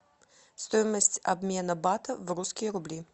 стоимость обмена бата в русские рубли